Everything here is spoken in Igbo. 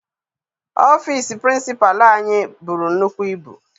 Ọfịịsi pirincipalu anyị buru nnukwu ibu.